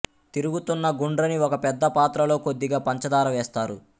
తిరుగుతున్న గుండ్రని ఒక పెద్ద పాత్రలో కొద్దిగా పంచదార వేస్తారు